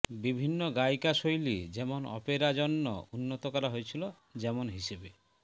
বিভিন্ন গায়িকা শৈলী যেমন অপেরা জন্য উন্নত করা হয়েছিল যেমন হিসাবে